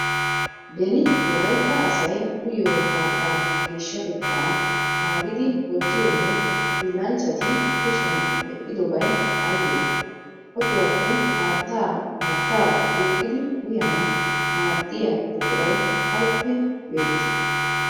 Beni wolaytta asay uyiyo haattaa geeshshatettaa naagidi wottiyonne hiillanchchati kushiyan medhdhiyobay aybee? Otiwappe haattaa haattaa duuqqidi uyanawu maaddiya buquray awuppe beettii?